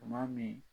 Tuma min